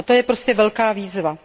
A to je prostě velká výzva.